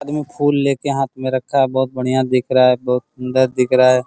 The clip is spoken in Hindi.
आदमी फूल ले के हाथ में रखा है बहुत बढ़िया दिख रहा है बहुत सुन्दर दिख रहा है ।